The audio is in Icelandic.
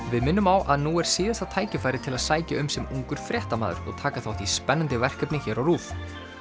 við minnum á að nú er síðasta tækifæri til að sækja um sem ungur fréttamaður og taka þátt í spennandi verkefni hér á RÚV